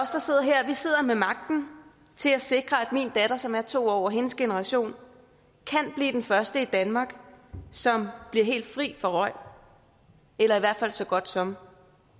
sidder her sidder med magten til at sikre at min datter som er to år og hendes generation kan blive den første generation i danmark som bliver helt fri for røg eller i hvert fald så godt som